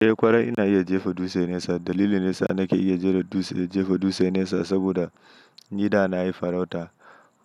Eh ƙwarai ina iya jefa dutse nesa. Dalili nesa nake iya jefa dutse nesa saboda nida nayi farauta.